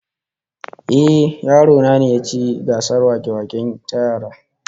Ehh, yaro na ne ya ci gasar wake-wake ta yara